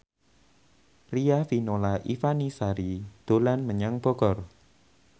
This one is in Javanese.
Riafinola Ifani Sari dolan menyang Bogor